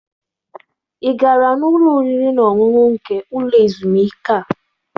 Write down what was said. Ị gara n'ụlọ oriri na ọṅụṅụ nke ụlọ ezumike a?